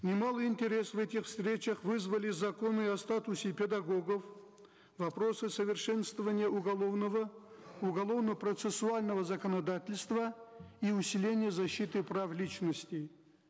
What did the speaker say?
немалый интерес в этих встречах вызвали законы о статусе педагогов вопросы совершенствования уголовного уголовно процессуального законодательства и усиление защиты прав личности